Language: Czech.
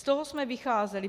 Z toho jsme vycházeli.